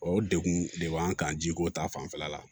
O degun de b'an kan jiko ta fanfɛla la